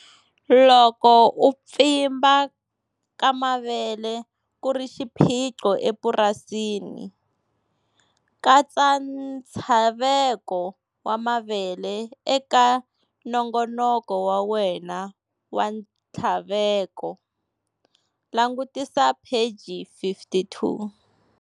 Loko u pfimba ka mavele ku ri xiphiqo epurasini, katsa ntshaveko wa mavele eka nongonoko wa wena wa nthlaveko langutisa pheji 52.